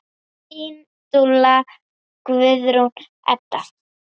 Þín dúlla, Guðrún Edda.